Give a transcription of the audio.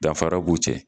Danfara b'u cɛ